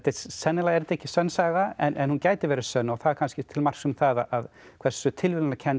sennilega er þetta ekki sönn saga en hún gæti verið sönn og það er kannski til marks um það hversu tilviljunarkennt